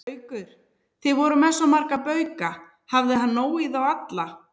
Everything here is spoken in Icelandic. Haukur: Þið voruð með svo marga bauka, hafði hann nóg í þá alla?